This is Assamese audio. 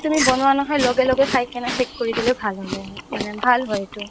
তুমি বনোৱা নহয় লগে লগে খাই কিনে affect কৰি দিলেও ভাল হ'লে মানে ভাল হয় এইটো